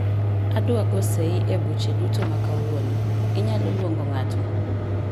Adwa go sei e buche duto ma kawuono, inyalo luongo ng'ato?